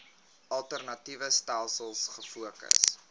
alternatiewe stelsels gefokus